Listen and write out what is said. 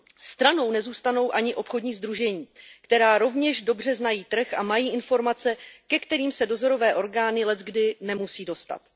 Stranou nezůstanou ani obchodní sdružení, která rovněž dobře znají trh a mají informace, ke kterým se dozorové orgány leckdy nemusí dostat.